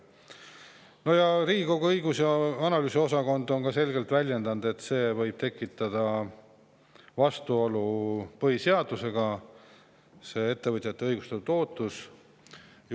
Riigikogu õigus- ja analüüsiosakond on samuti selgelt väljendunud, öeldes, et see võib tekitada vastuolu põhiseadusega, sest ettevõtjatel on õigustatud ootus.